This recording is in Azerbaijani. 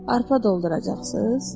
Arpa dolduracaqsız?